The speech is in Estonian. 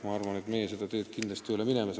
Ma arvan, et meie seda teed kindlasti ei lähe.